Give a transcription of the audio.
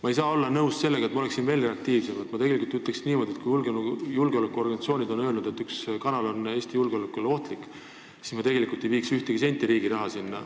Ma ei saa selle olukorraga nõus olla ja ma olen veel reaktiivsem: kui julgeolekuorganisatsioonid on öelnud, et üks kanal ohustab Eesti julgeolekut, siis ma ei viiks sinna tegelikult ühtegi senti riigi raha.